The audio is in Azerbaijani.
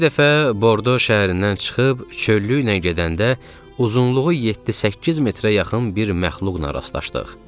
Bir dəfə Bordo şəhərindən çıxıb çöllüklə gedəndə, uzunluğu 7-8 metrə yaxın bir məxluqla rastlaşdıq.